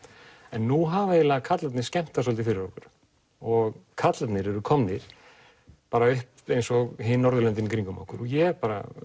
en nú hafa eiginlega karlarnir skemmt það svolítið fyrir okkur og karlarnir eru komnir upp eins og hin Norðurlöndin í kringum okkur ég